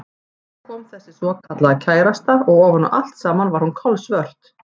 Og svo kom þessi svokallaða kærasta og ofan á allt saman var hún kolsvört.